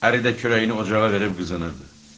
Əri də kürəyini ocağa verib qızınırdı.